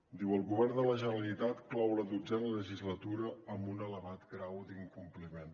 diu el govern de la generalitat clou la dotzena legislatura amb un elevat grau d’incompliment